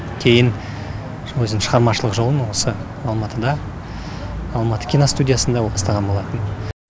кейін өзінің шығармашылық жолын осы алматыда алматы киностудиясында бастаған болатын